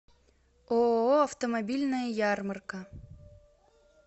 ооо автомобильная ярмарка